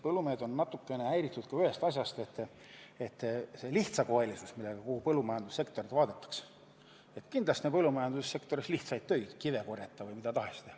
Põllumehed on natukene häiritud ka sellest, et kogu põllumajandussektorit vaadatakse lihtsakoelisena – et kindlasti tehakse seal lihtsaid töid, näiteks korjatakse kive või mida tahes.